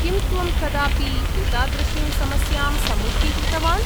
किं त्वं कदापि एतादृशीं समस्यां सम्मुखीकृतवान्?